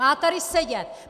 Má tady sedět!